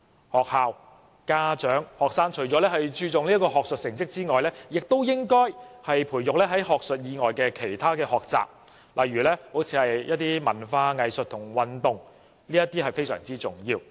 學校、家長和學生除了注重學術成績外，也應該培育學生在學術以外的其他學習，例如文化、藝術和運動，這點是非常重要的。